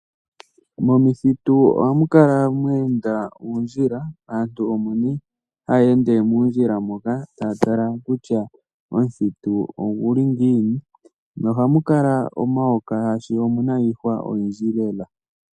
Momithitu ohamu kala mweenda uundjila aantu omo nee haya ende muundjila moka taya tala kutya omuthitu oguli ngiini, nohamu kala omayoka, shaashi omuna iihwa oyindji lela.